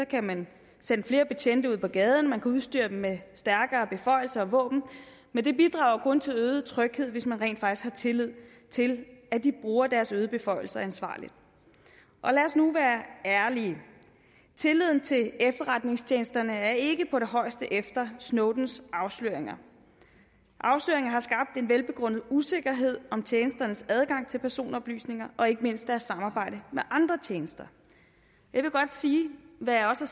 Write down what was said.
kan man sende flere betjente ud på gaden man kan udstyre dem med stærkere beføjelser og våben men det bidrager jo kun til øget tryghed hvis man rent faktisk har tillid til at de bruger deres øgede beføjelser ansvarligt lad os nu være ærlige tilliden til efterretningstjenesterne er ikke på det højeste efter snowdens afsløringer afsløringerne har skabt en velbegrundet usikkerhed om tjenesternes adgang til personoplysninger og ikke mindst deres samarbejde med andre tjenester jeg vil godt sige hvad jeg også